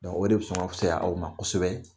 o de bi sɔn ka fisaya aw ma kosɛbɛ